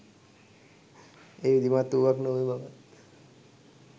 එය විධිමත් වූවක් නොවන බවත්